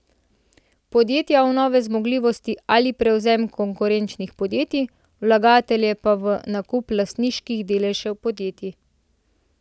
Podjetja v nove zmogljivosti ali prevzem konkurenčnih podjetij, vlagatelje pa v nakup lastniških deležev podjetij.